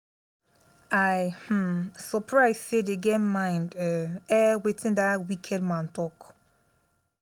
i um surprise say dey get mind um air wetin dat wicked man talk